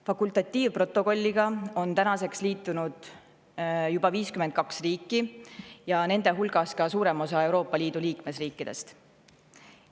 Fakultatiivprotokolliga on tänaseks liitunud juba 52 riiki, nende hulgas ka suurem osa Euroopa Liidu liikmesriikidest.